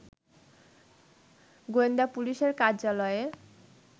গোয়েন্দা পুলিশের কার্যালয়ে